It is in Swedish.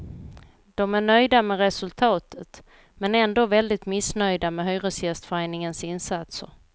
De är nöjda med resultatet, men ändå väldigt missnöjda med hyresgästföreningens insatser.